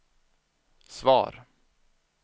svar